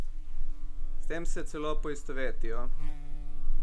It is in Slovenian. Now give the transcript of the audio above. S tem se celo poistovetijo.